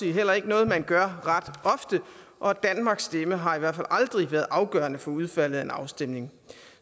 heller ikke noget man gør ret ofte og danmarks stemme har i hvert fald aldrig været afgørende for udfaldet af en afstemning